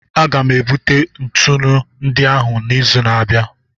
Aga m ebute ntụnụ ndị ahụ n'izu na-abịa.